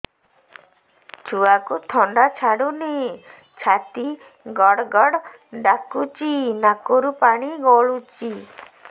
ଛୁଆକୁ ଥଣ୍ଡା ଛାଡୁନି ଛାତି ଗଡ୍ ଗଡ୍ ଡାକୁଚି ନାକରୁ ପାଣି ଗଳୁଚି